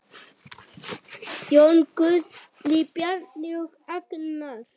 Jón Guðni, Bjarni og Agnar.